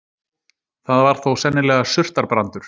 Það var þó sennilega surtarbrandur.